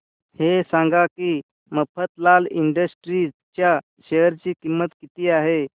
हे सांगा की मफतलाल इंडस्ट्रीज च्या शेअर ची किंमत किती आहे